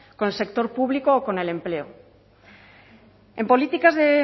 con el sector público o con el empleo en políticas de